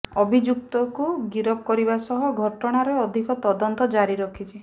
ଅଭିଯୁକ୍ତକୁ ଗିରଫ କରିବା ସହ ଘଟଣାର ଅଧିକ ତଦନ୍ତ ଜାରି ରଖିଛି